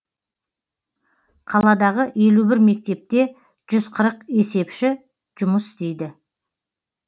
қаладағы елу бір мектепте жүз қырық есепші жұмыс істейді